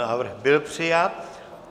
Návrh byl přijat.